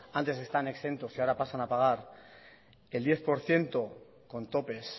antes están exentos y ahora pasan a pagar el diez por ciento con topes